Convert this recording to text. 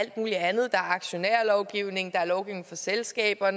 aktionærlovgivning der er lovgivning for selskaber og